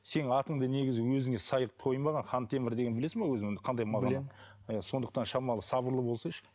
сенің атыңды негізі өзіңе сай қылып қоймаған хантемір дегенді білесің бе өзің қандай мағына білемін і сондықтан шамалы сабырлы болсайшы